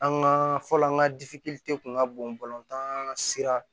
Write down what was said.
An ka fɔlɔ an ka kun ka bon sira